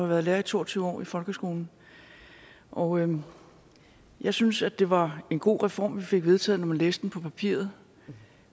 været lærer i to og tyve år i folkeskolen og jeg synes det var en god reform vi fik vedtaget når man læste den på papiret